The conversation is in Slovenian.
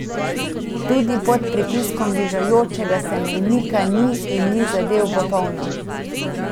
Tudi pod pritiskom bližajočega se mejnika ni in ni zadel v polno.